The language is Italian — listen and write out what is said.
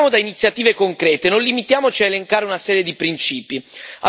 Partiamo da iniziative concrete, non limitiamoci a elencare una serie di principi.